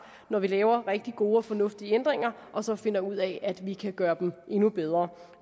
når vi laver rigtig gode og fornuftige ændringer og så finder ud af at vi kan gøre dem endnu bedre